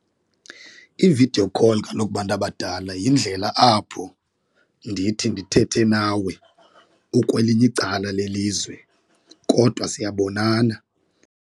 Ividiyo call kaloku bantu abadala yindlela apho ndithi ndithethe nawe ukwelinye icala lelizwe kodwa siyabonana.